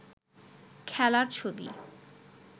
খেলার ছবি